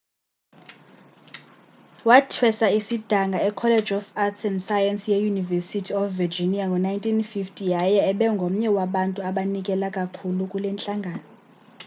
wathweswa isidanga ecollege of arts & sciences yeuniversity of virginia ngo-1950 yaye ebengomnye wabantu abanikela kakhulu kule ntlangano